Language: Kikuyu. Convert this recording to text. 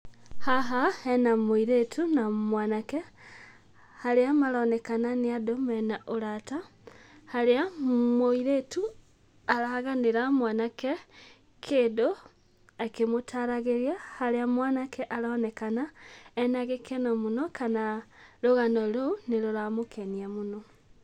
Haha hena mũirĩtu na mwanake harĩa maronekana nĩ andũ me na ũrata. Harĩa mũirĩtu araganĩra mwanake kĩndũ akĩmũtaragĩria, harĩa mwanake aronekana ena gĩkeno mũno, kana rũgano rũu nĩrũramũkenia mũno.